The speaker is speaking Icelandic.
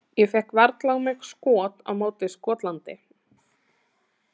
Ég fékk varla á mig skot á móti Skotlandi.